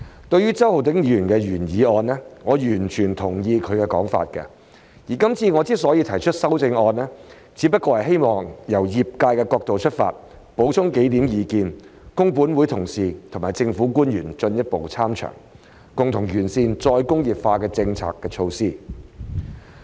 對於周浩鼎議員的原議案，我完全同意他的說法，而今次我之所以提出修正案，只不過希望由業界角度出發，補充幾點意見，供本會同事和政府官員進一步參詳，共同完善"再工業化"的政策措施。